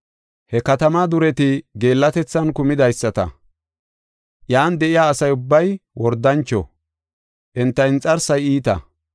He katamaa dureti geellatethan kumidaysata. Iyan de7iya asa ubbay wordancho; enta inxarsay iita.